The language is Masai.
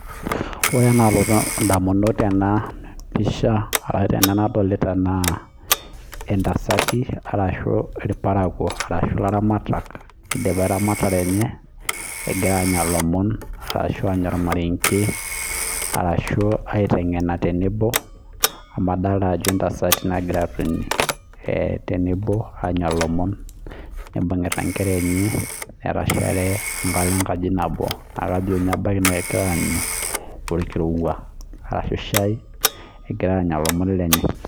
Ore enaalotu indamunot tena pisha arashu, tena nadolita naa, itasati arashu irparakuo arashu ilaramatak idipa eramatare enye egira anya ilomon arashu, anya ormarenge arashu, aitengena tenebo amu adolita ajo intasati nagira atoni eh tenebo aanya ilomon. Nibungita inkera enye atashare ebata enkaji nabo. Naa kajo ninye egira aanyu olkirowua arashu, shai egira anya ilomon lenye.